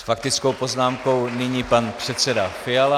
S faktickou poznámkou nyní pan předseda Fiala.